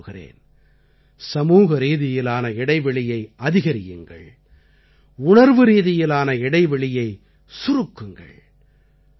நான் மீண்டும் கூறுகிறேன் சமூகரீதியிலான இடைவெளியை அதிகரியுங்கள் உணர்வுரீதியிலான இடைவெளியைச் சுருக்குங்கள்